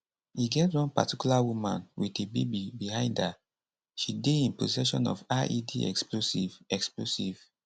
e get one particular woman wit a baby behind her she dey in possession of ied explosive explosive